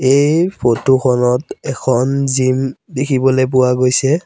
এই ফটো খনত এখন জিম দেখিবলৈ পোৱা গৈছে।